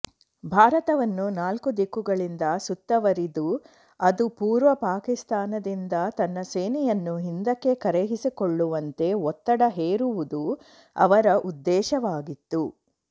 ಭಾರತವನ್ನು ನಾಲ್ಕೂ ದಿಕ್ಕುಗಳಿಂದ ಸುತ್ತವರಿದು ಅದು ಪೂರ್ವ ಪಾಕಿಸ್ತಾನದಿಂದ ತನ್ನ ಸೇನೆಯನ್ನು ಹಿಂದಕ್ಕೆ ಕರೆಸಿಕೊಳ್ಳುವಂತೆ ಒತ್ತಡ ಹೇರುವುದು ಅವರ ಉದ್ದೇಶವಾಗಿತ್ತು